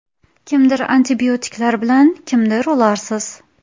Kimdir antibiotiklar bilan, kimdir ularsiz.